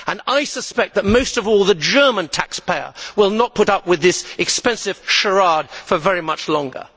I suspect that most of all, the German taxpayer will not put up with this expensive charade for very much longer.